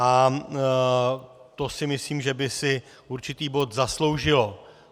A to si myslím, že by si určitý bod zasloužilo.